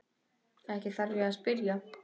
Ekki þarf ég að spyrja.